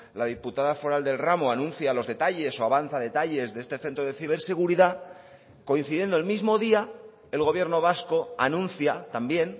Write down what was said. la diputada foral del ramo anuncia los detalles o avanza detalles de este centro de ciberseguridad coincidiendo el mismo día el gobierno vasco anuncia también